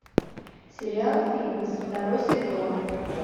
сериал фитнес второй сезон